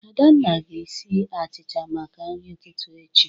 Adanna ga-esi achịcha maka nri ụtụtụ echi.